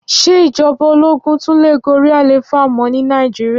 Ṣé ìjọba ológún tún lè gorí àlééfà mọ́ ní Nàìjíríà?